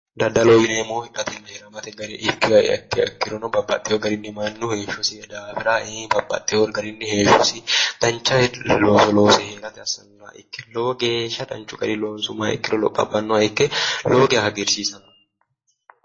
Daddaloho yineemohu hidhatena hidhamate gariha ikkiha ikkirono babbaxewo garinni mannu heeshosi daafira babbaxewo garinni heeshosi danicha looso loose heerate assannoha ikkiro lowo geesha danichu garii loonsumoha ikkiro lopho abbanoha ikke lowo geya hagirisiisanno